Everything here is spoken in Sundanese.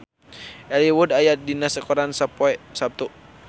Elijah Wood aya dina koran poe Saptu